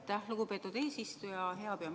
Aitäh, lugupeetud eesistuja!